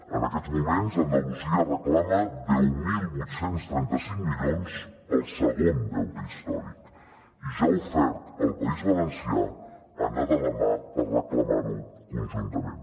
en aquests moments andalusia reclama deu mil vuit cents i trenta cinc milions pel segon deute històric i ja ha ofert al país valencià anar de la mà per reclamar ho conjuntament